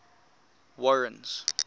warren's